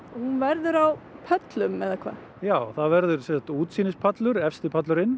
hún verður á pöllum eða hvað já það verður sem sagt útsýnispallur efsti pallurinn